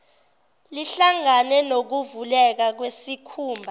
lihlangane nokuvuleka kwesikhumba